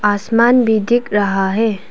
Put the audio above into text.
आसमान भी दिख रहा है।